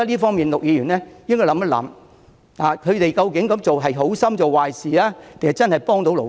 就此，陸議員等人應該反思，他們究竟是好心做壞事，還是真正在協助勞工？